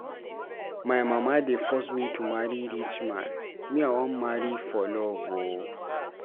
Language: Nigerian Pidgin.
My mama dey force me to marry rich man, me I wan marry for love o.